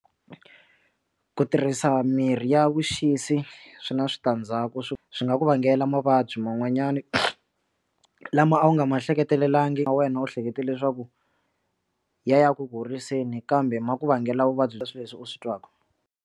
Ku tirhisa mirhi ya vuxisi swi na switandzhaku swi swi nga ku vangela mavabyi man'wanyana lama a wu nga ma hleketelangi na wena u hleketa leswaku ya ya ku horiseni kambe ma ku vangela vuvabyi leswi leswi u swi twaka.